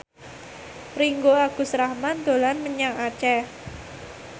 Ringgo Agus Rahman dolan menyang Aceh